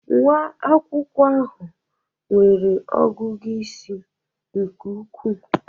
Nwa akwụkwọ ahụ nwere ọgụgụ isi nke ukwuu.